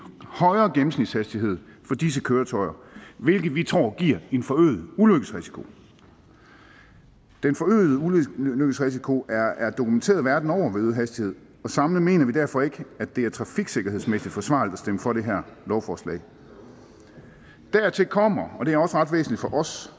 højere gennemsnitshastighed for disse køretøjer hvilket vi tror giver en forøget ulykkesrisiko den forøgede ulykkesrisiko er er dokumenteret verden over ved øget hastighed og samlet mener vi derfor ikke at det er trafiksikkerhedsmæssigt forsvarligt at stemme for det her lovforslag dertil kommer og det er også ret væsentligt for os